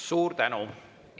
Suur tänu!